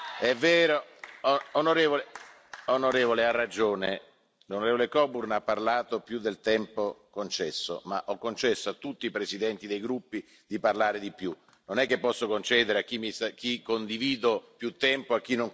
Onorevole ha ragione, l'onorevole Coburn ha parlato più del tempo concesso, ma ho concesso a tutti i presidenti dei gruppi di parlare di più. Non è che posso concedere a chi condivido più tempo e a chi non condivido meno tempo.